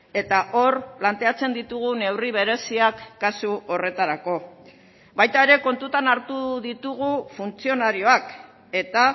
eta hor planteatzen ditugun neurri bereziak kasu horretarako baita ere kontutan hartu ditugu funtzionarioak eta